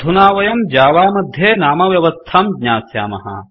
अधुना वयं जावा मध्ये नामव्यवस्थां ज्ञास्यामः